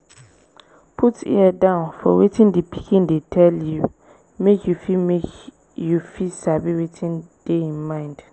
put ear down for wetin di pikin dey tell you make you fit make you fit sabi wetin dey im mind